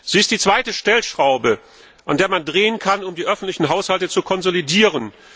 Sie ist die zweite Stellschraube, an der man drehen kann, um die öffentlichen Haushalte zu konsolidieren.